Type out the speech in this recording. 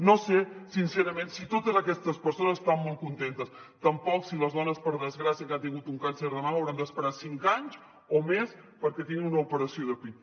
no sé sincerament si totes aquestes persones estan molt contentes tampoc si les dones per desgràcia que han tingut un càncer de mama hauran d’esperar cinc anys o més perquè tinguin una operació de pit